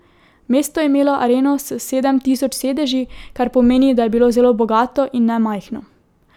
Mesto je imelo areno s sedem tisoč sedeži, kar pomeni, da je bilo zelo bogato in ne majhno.